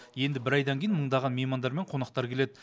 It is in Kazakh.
енді бір айдан кейін мыңдаған меймандар мен қонақтар келеді